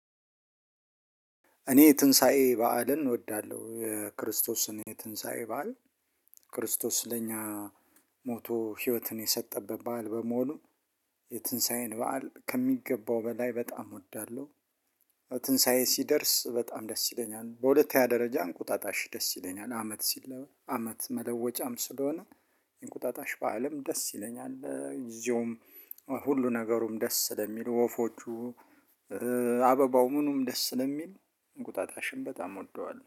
እኔ የትንሳኤ በዓልን እወዳለሁ። የክርስቶስን የትንሳኤ በዓል፣ ክርስቶስ ለኛ ሞቶ ህይወትን የሰጠበት በዓል በመሆኑ የትንሳኤን በዓል ከሚገባው በላይ በጣም እወዳለሁ። ትንሳኤ ሲደርስ በጣም ደስ ይለኛል። በሁለተኛ ደረጃ እንቁጣጣሽ ደስ ይለኛል። አመት ሲለ አመት መለወጫም ስለሆነ እንቁጣጣሽ በዓልም ደስ ይለኛል። ጊዜውም ሁሉ ነገሩም ደስ ስለሚሉ ወፎቹ አበባው ምኑም ደስ ስለሚል እንቁጣጣሽን በጣም ወደዋል።